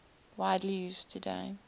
widely used today